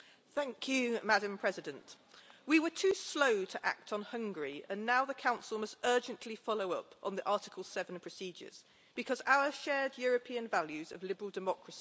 Madam President, we were too slow to act on Hungary and now the Council must urgently follow up on the Article 7 procedures, because our shared European values of liberal democracy matter.